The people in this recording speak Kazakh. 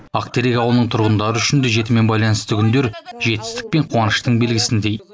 ақтерек ауылының тұрғындары үшін де жетімен байланысты күндер жетістік пен қуаныштың белгісіндей